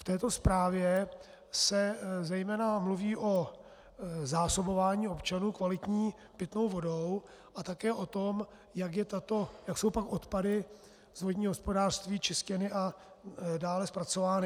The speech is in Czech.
V této zprávě se zejména mluví o zásobování občanů kvalitní pitnou vodou a také o tom, jak jsou pak odpady z vodního hospodářství čištěny a dále zpracovány.